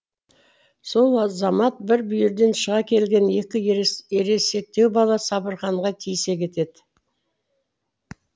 сол азамат бір бүйірден шыға келген екі ересектеу бала сабырханға тиісе кетеді